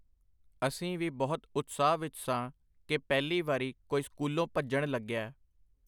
ਅਸੀਂ ਵੀ ਬਹੁਤ ਉਤਸਾਹ ਵਿੱਚ ਸਾਂ ਕਿ ਪਹਿਲੀ ਵਾਰੀ ਕੋਈ ਸਕੂਲੋਂ ਭੱਜਣ ਲੱਗਿਆ.